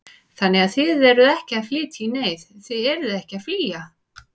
Þannig að þið eruð ekki að flytja í neyð, þið eruð ekki að flýja?